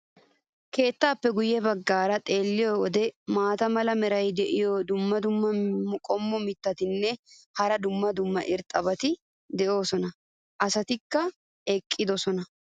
keettaappe Guye bagaara xeelliyo wode maata mala meray diyo dumma dumma qommo mitattinne hara dumma dumma irxxabati de'oosona. asatikka eqqidosona.